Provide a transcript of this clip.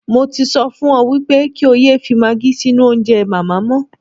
Mo ti sọ fún ọ wípé kí ó yẹ fi maagí sínú oúnjẹ màmá mọ́.